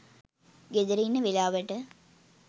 ගෙදර ඉන්න වෙලාවට